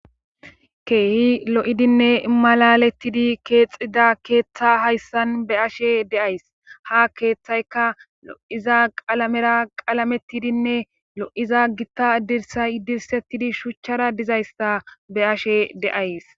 keehi lo7idinne malalettidi keexida keeththa hayssan be ashe deays ha keeththayka lo7iza qalamera qalamettidinne lo7iza gitta dirsay dirsettidi shuchchara dizayssa be ashe deays